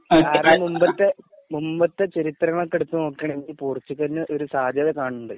അതിനു മുമ്പത്തെ മുമ്പത്തെ ചരിത്രങ്ങളൊക്കെ എടുത്തു നോക്കുവാണ് പോർച്ചുഗലിനു ഒരു സാത്യത കാണുന്നുണ്ട്.